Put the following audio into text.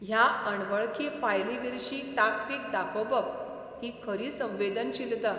ह्या अणवळखी फायलींविर्शी ताकतीक दाखोबप ही खरी संवेदनशीलता.